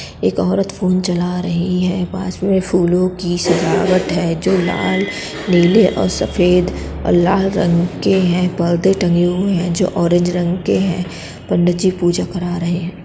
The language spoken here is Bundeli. एक औरत फोन चला रही है। पास में फूलों की सजावट है जो लाल नीले और सफेद अ लाल रंग के हैं। परदे टंगे हुए है जो ऑरेंज रंग के हैं। पंडित जी पूजा करा रहे है।